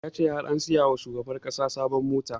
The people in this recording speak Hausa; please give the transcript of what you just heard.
Ya ce har an saya wa shugaban ƙasa sabon mota